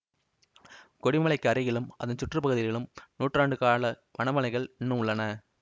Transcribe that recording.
கொடி மலைக்கு அருகிலும் அதன் சுற்று பகுதிகளிலும் நூற்றாண்டு கால வளமலைகள் இன்னும் உள்ளன